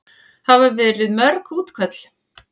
Hafa verið mörg útköll?